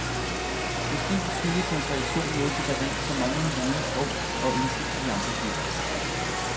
Måske skyldes hans reaktion noget så banalt som manglende viden om og indsigt i andres liv.